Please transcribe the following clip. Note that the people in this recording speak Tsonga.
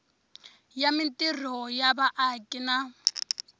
ya mintirho ya vaaki na